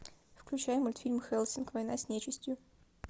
включай мультфильм хеллсинг война с нечистью